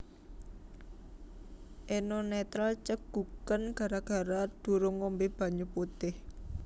Eno Netral ceguken gara gara durung ngombe banyu putih